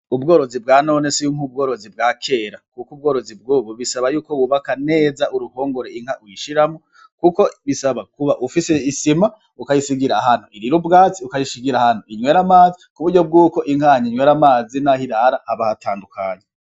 Ubworozi bwa none sink'ubworozi bwa kera, kuko ubworozi bwubu bisaba yuko wubaka neza uruhongore inka uyishiramo, kuko bisaba kuba ufise isima ukayisigira hantu irira ubwatsi ukayishigira hanu inywere amazi ku buryo bw'uko inkanya nywera amazina ho irara abahatandukanya.